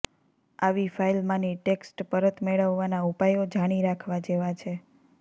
આવી ફાઇલમાંની ટેક્સ્ટ પરત મેળવવાના ઉપાયો જાણી રાખવા જેવા છે